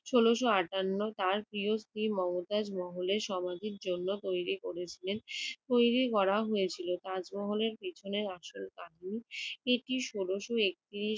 ষোলশ আটান্ন তার প্রিয় স্ত্রী মমতাজ মহলের সমাধির জন্য তৈরি করেছিলেন~ তৈরি করা হয়েছিল। তাজমহলের পিছনের আসল কাহানি! এটি ষোলোয় একত্রিশ